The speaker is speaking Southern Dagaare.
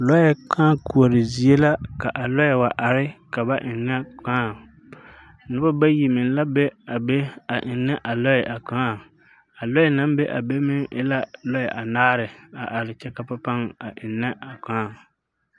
Lɔɛ kaa koɔre zie la ka a lɔɛ wa are ka ba eŋa kaa nobɔ bayi meŋ la be a be a eŋa a lɔɛ a kaa a lɔɛ naŋ be a be meŋ e la lɔɛ anaare are kyɛ ka ba paŋ a eŋnɛ a kaa.